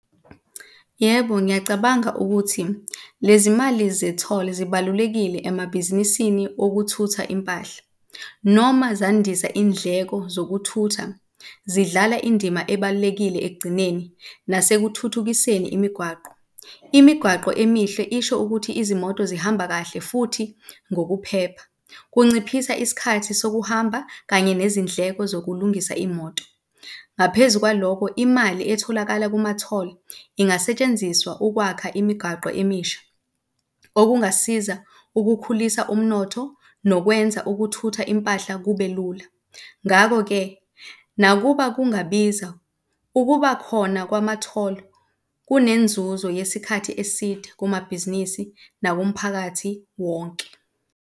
Yebo, ngiyacabanga ukuthi lezi mali ze-toll zibalulekile emabhizinisini okuthutha impahla, noma zandisa indleko zokuthutha zidlala indima ebalulekile ekugcineni nasekuthuthukiseni imigwaqo. Imigwaqo emihle isho ukuthi izimoto zihamba kahle futhi ngokuphepha. Kunciphisa isikhathi sokuhamba kanye nezindleko zokulungisa imoto. Ngaphezu kwaloko, imali etholakala kuma-toll ingasetshenziswa ukwakha imigaqo emisha, okungasiza ukukhulisa umnotho nokwenza ukuthutha impahla kube lula. Ngakho-ke, nakuba kungabiza ukuba khona kwama-toll kunenzuzo yesikhathi eside kumabhizinisi nakumphakathi wonke.